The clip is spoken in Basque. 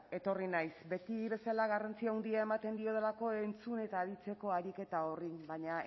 etorri naiz beti bezala garrantzi handia ematen diodalako entzun eta aritzeko ariketa horri baina